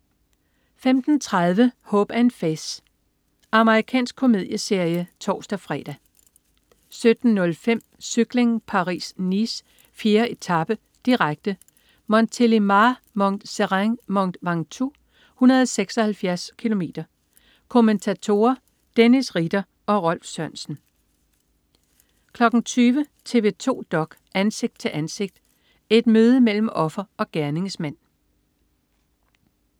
15.30 Hope & Faith. Amerikansk komedieserie (tors-fre) 17.05 Cykling: Paris-Nice. 4. etape, direkte. Montélimar-Mont Serein/Mont Ventoux, 176 km. Kommentatorer: Dennis Ritter og Rolf Sørensen 20.00 TV 2 dok.: Ansigt til ansigt. Et møde mellem offer og gerningsmand